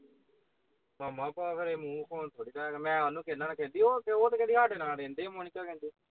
ਮਾਮਾ ਉਹ ਮੂਹ ਵਉਣ ਵਾਲੇ ਥੋੜੀ ਹੈ ਮੈਂ ਉਹਨੂੰ ਕਹਿੰਦਾ ਹੈ ਉਹਤੇ ਉਹਤੇ ਕਹਿੰਦੀ ਸਾਡੇ ਨਾਲ ਰਹਿੰਦੀ ਹੈ ਮੋਨਿਕਾ ਕਹਿੰਦੀ